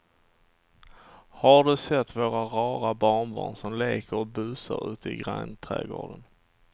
Har du sett våra rara barnbarn som leker och busar ute i grannträdgården!